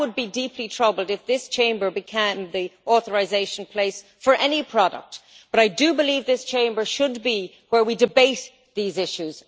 I would be deeply troubled if this Chamber became the authorisation place for any product, but I do believe that this Chamber should be where we debate these issues.